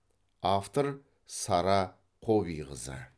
автор сара қобиқызы